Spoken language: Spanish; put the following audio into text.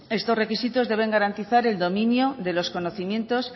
estos requisitos deben garantizar el dominio de los conocimientos